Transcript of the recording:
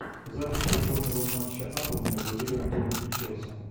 запись футбольного матча апл между ливерпулем и челси